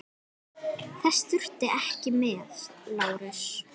LÁRUS: Þess þurfti ekki með.